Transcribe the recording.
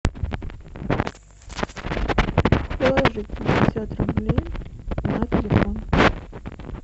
положить пятьдесят рублей на телефон